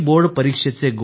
कधीच आशा सोडू नका